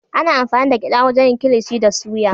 Ana amfani da gyada wajen yin kilishi da suya